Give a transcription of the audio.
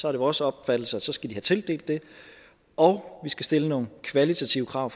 er det vores opfattelse at de så skal have tildelt det og vi skal stille nogle kvalitative krav